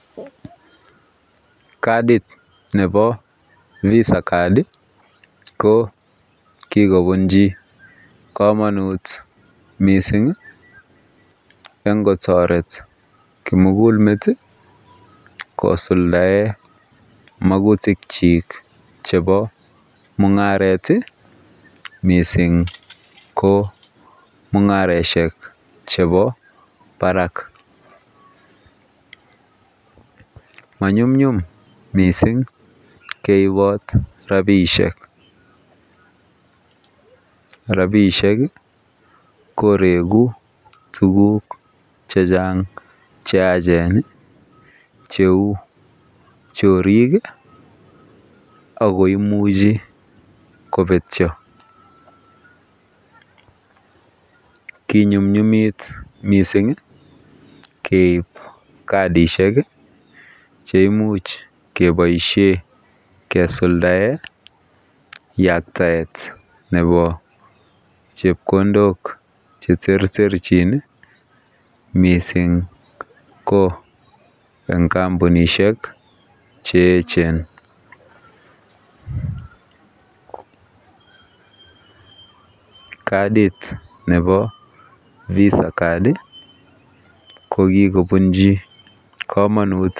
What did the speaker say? Kadit nebo Vasa card kokikobunchi kamanut mising en kotaret kimugul met kosuldaen magutik chik chebo mungaret mising ko mungaroshek chebo Barak manyun nyum mising keibot rabishek, rabishek koregu tuguk chechang cheyachen cheu chorik akoimiche kobetyo konyumnyumit mising keib kasishek cheimuch kebaishen kesuldaeng yaktaet Nebo chepkondok cheterterchin mising ko en kambunishek cheyechen kadit nebo visa card kokikobunchi kamanut